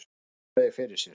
Hann þreifaði fyrir sér.